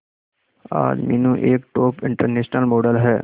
आज मीनू एक top international model है